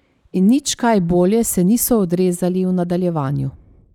In nič kaj bolje se niso odrezali v nadaljevanju.